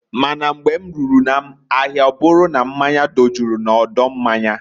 Ma na mgbe m ruru na ahịa ọbụru na mmanya dojuru na odo mmanya.